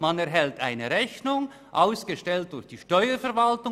Man erhält eine Rechnung, ausgestellt durch die Steuerverwaltung.